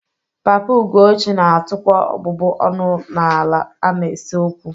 Papa Ugochi na-atụkwa ọbụbụ ọnụ n'ala a na-ese okwu